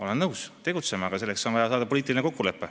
Olen nõus, tegutseme, aga selleks on vaja sõlmida poliitiline kokkulepe.